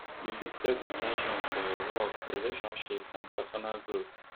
you fit set in ten tions for your work relationships or pesinal growth